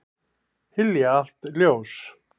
Hylja allt ljós.